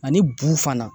Ani bu fana